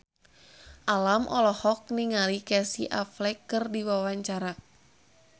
Alam olohok ningali Casey Affleck keur diwawancara